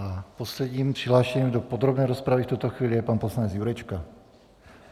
A posledním přihlášeným do podrobné rozpravy v tuto chvíli je pan poslanec Jurečka.